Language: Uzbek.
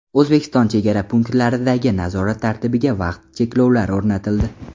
O‘zbekiston chegara punktlaridagi nazorat tartibiga vaqt cheklovlari o‘rnatildi.